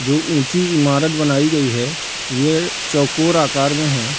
जो ऊँची इमारत बनाई गई है ये चौकोर आकार में है।